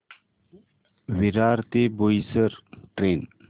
विरार ते बोईसर ट्रेन